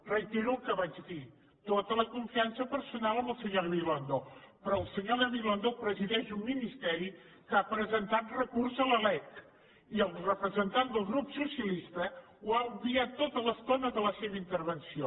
reitero el que vaig dir tota la confiança personal amb el senyor gabilondo però el senyor gabilondo presideix un ministeri que ha presentat recurs contra la lec i el representant del grup socialistes ho ha obviat tota l’estona de la seva intervenció